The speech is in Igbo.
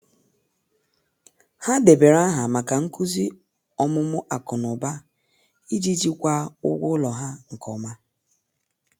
ha debere aha maka nkuzi omumu aku n'uba iji jikwaa ụgwọ ụlọ ha nke oma